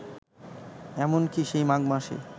এমন কি, সেই মাঘ মাসে